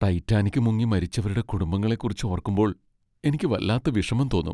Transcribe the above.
Titanic മുങ്ങി മരിച്ചവരുടെ കുടുംബങ്ങളെ കുറിച്ച് ഓർക്കുമ്പോൾ എനിക്ക് വല്ലാത്ത വിഷമം തോന്നും.